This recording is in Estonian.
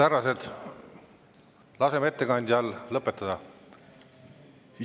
Härrased, laseme ettekandjal lõpetada!